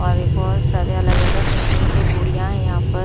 और बहुत सारे अलग अलग किस्म के गुड़िया है यहाँ पर--